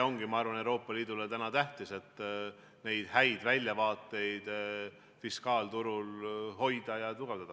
Ma arvan, et Euroopa Liidu jaoks ongi täna tähtis see, et neid häid väljavaateid fiskaalturul hoida ja tugevdada.